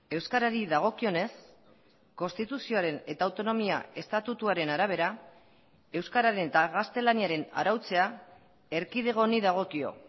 euskarari dagokionez konstituzioaren eta autonomia estatutuaren arabera euskararen eta gaztelaniaren arautzea erkidego honi dagokio